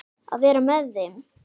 Að vera með þeim.